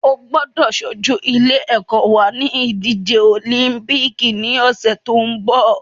O gbọ́dọ̀ ṣojú ilé ẹ́kọ́ wa ní ìdíje òlíḿpìkì ní ọ̀sẹ̀ tó ń bọ̀